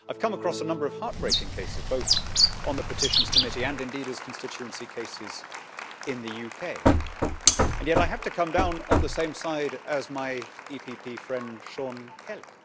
I've come across a number of heart breaking cases both on the Petitions Committee and indeed as constituency cases in the UK, and yet I have to come down on the same side as my EPP friend Sean Kelly.